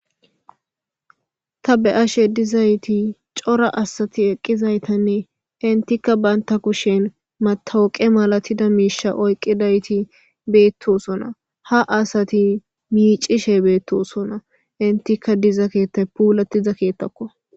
ta be7ashe dizayti cora asati eqqizaytanne intikka baynta kushen matawoqe malatida miisha oyqqidayti beettosona ha asati miicishe beettosona intikka diza keetta puulatiza keettakko